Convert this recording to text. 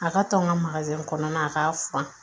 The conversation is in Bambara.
A ka tɔn ka kɔnɔna a k'a furan